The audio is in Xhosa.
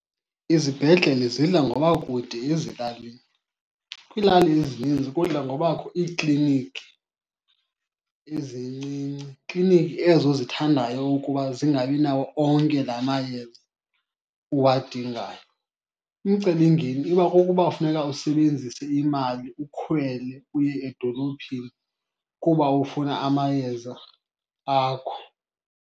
Izibhedlele zidla ngoba kude ezilalini. Kwiilali ezininzi kudla ngobakho iikliniki ezincinci, kliniki ezo zithandayo ukuba zingabi nawo onke la mayeza uwadingayo. Umcelingeni uba kukuba kufuneka usebenzise imali ukhwele uye edolophini kuba ufuna amayeza akho.